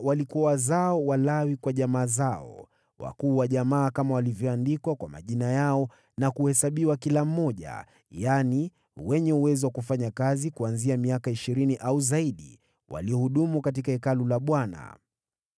Hawa walikuwa wazao wa Lawi kwa jamaa zao. Wakuu wa jamaa kama walivyoandikwa kwa majina yao na kuhesabiwa kila mmoja, yaani, wenye uwezo wa kufanya kazi kuanzia miaka ishirini au zaidi, waliohudumu katika Hekalu la Bwana .